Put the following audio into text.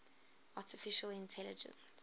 artificial intelligence